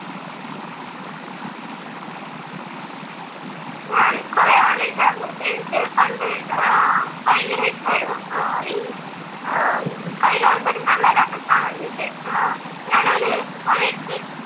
അഹ് കുറെ ആലോചിക്കാറുണ്ട്, എനിക്ക് പണ്ട് ഭയങ്കരം ഇഷ്ടായിരുന്നു ഏർ ഈ ഏർ കായികമത്സരങ്ങളിലൊക്കെ നിക്കാൻ വേണ്ടിയിട്ട്. ഞാൻ ഒരു സമയത്ത്